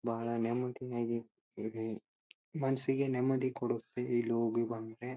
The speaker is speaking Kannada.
ಬಹಳ ನೆಮ್ಮದಿ ಆಗಿ ಇವೆ ಮನಸ್ಸಿಗೆ ನೆಮ್ಮದಿ ಕೊಡುತ್ತೆ ಇಲ್ಲಿ ಹೋಗಿ ಬಂದ್ರೆ.